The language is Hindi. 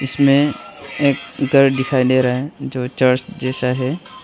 इसमें एक घर दिखाई दे रहा है जो चर्च जैसा है।